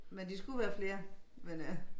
Men de skulle være flere men øh